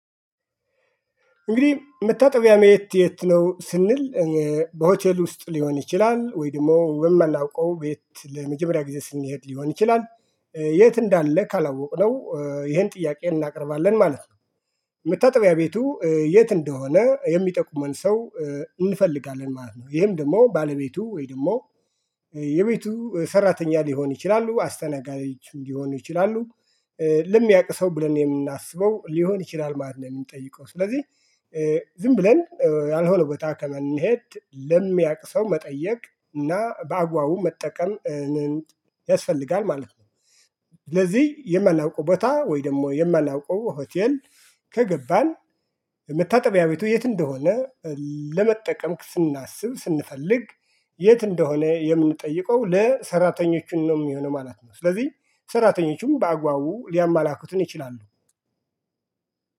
እንግዲህ መታጠቢያ መየት የት ነው ስንል? በሆቴል ውስጥ ሊሆን ይችላል ወይ ደግሞ የማላውቀው ቤት ለመጀመሪያ ጊዜ ስንሄድ ሊሆን ይችላል። የት እንዳለ ካላወቅነው ይሄን ጥያቄ እናቀርባለን ማለት ነው። መታጠቢያ ቤቱ የት እንደሆነ የሚጠቁመን ሰው እንፈልጋለን ማለት ነው። ይሄም ደግሞ ባለቤቱ ወይ ደግሞ። የቤቱ ሰራተኛ ሊሆን ይችላሉ አስተናጋጅ ሊሆኑ ይችላሉ። ለሚያውቅ ሰው ብለን የምናስበው ሊሆን ይችላል ማለት ነው የምንጠይቀው ስለዚህ። ዝም ብለን ያልሆነው በታከም ከምንሄድ ለሚያቅ ሰው መጠየቅ እና በአግባቡ መጠቀም ያስፈልጋል ማለት ነው። ስለዚህ የማናውቀው ቦታ ወይ ደግሞ የማናውቀው ሆቴል። ከገባን መታጠቢያ ቤቱ የት እንደሆነ ለመጠቀም ስናስብ ስንፈልግ የት እንደሆነ የምንጠይቀው ለሰራተኞቹን ነው የሚሆነው ማለት ነው። ስለዚህ ሰራተኞቹም በአግባቡ ሊያማላክቱን ይችላሉ።